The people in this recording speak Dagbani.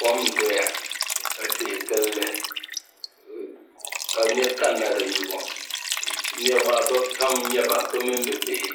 Kɔm n doya ka tihi gilli ka niɣi kani na di nyubu niɣi maa bi pam n nyɛba bi mini bi bihi